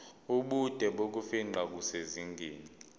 ubude bokufingqa kusezingeni